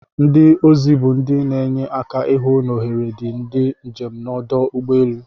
Ndi ozi bu ndi n'enye aka ihụ n'ohere diri ndi njem nọdụ ugbọ elu.